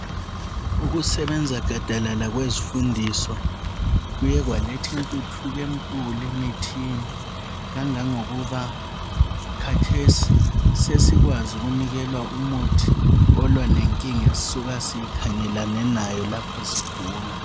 Ukusebenza gadalala kwezifundiswa kuye kwaletha intuthuko enkulu emithini kangangokuba khathesi sesikwazi unikelwa umuthi olwa lenkinga esisuka sikhangelane nayo lapho sigula